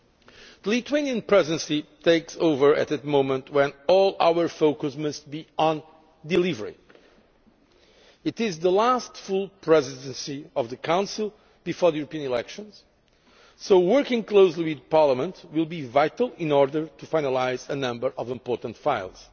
The Lithuanian Presidency takes over at a moment when all our focus must be on delivery. It is the last full presidency of the Council before the European elections, so working closely with Parliament will be vital in order to finalise a number of important files.